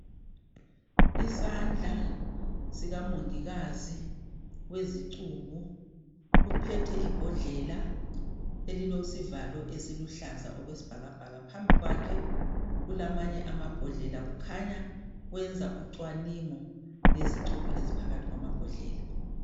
Isandla sikamongikazi wezicubo, uphethe ibhodlela elilesivalo esiluhlaza okwesibhakabhaka .Phambikwakhe kulamanye amabhodlela kukhanya wenza ucwaningo ngezicubo eziphakathi kwamabhodlela.